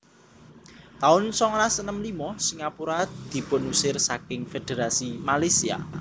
taun songolas enem limo Singapura dipunusir saking Fédherasi Malaysia